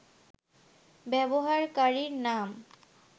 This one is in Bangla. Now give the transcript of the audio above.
ব্যবহারকারীর নাম